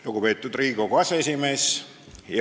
Lugupeetud Riigikogu aseesimees!